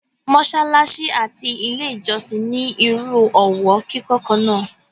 mọ́sálásí àti ilé ìjọ́sìn ní irú ọwọ́ kíkọ́ kan náà.